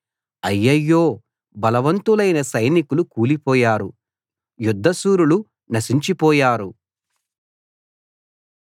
అయ్యయ్యో బలవంతులైన సైనికులు కూలిపోయారు యుద్ధ శూరులు నశించిపోయారు